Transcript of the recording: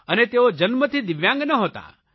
અને તેઓ જન્મથી દિવ્યાંગ નહોતો